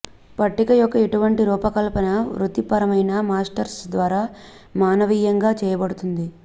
పట్టిక యొక్క ఇటువంటి రూపకల్పన వృత్తిపరమైన మాస్టర్స్ ద్వారా మానవీయంగా చేయబడుతుంది